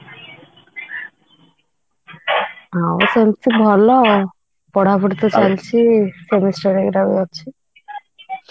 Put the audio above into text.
ହଁ ସେମିତି ଭଲ ଆଉ ପଢାପଢି ତ ଚାଲିଛି ଅଛି